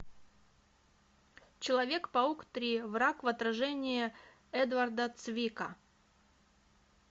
человек паук три враг в отражении эдварда цвика